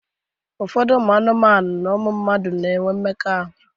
Ụfọdụ mmadụ na ụmụ anụmanu na-enwe mmekọahụ.